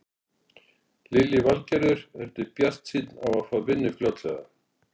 Lillý Valgerður: Ertu bjartsýnn á að fá vinnu fljótlega?